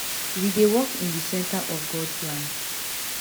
we dey work in di centre of god plan